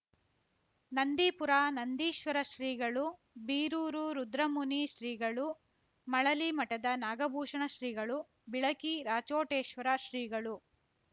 ನಂದೀಪುರ ನಂದೀಶ್ವರ ಶ್ರೀಗಳು ಬೀರೂರು ರುದ್ರಮುನಿ ಶ್ರೀಗಳು ಮಳಲಿ ಮಠದ ನಾಗಭೂಷಣ ಶ್ರೀಗಳು ಬಿಳಕಿ ರಾಚೋಟೇಶ್ವರ ಶ್ರೀಗಳು